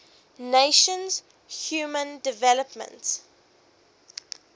nations human development